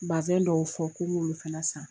Bazɛn dɔw fɔ k'u b'olu fana san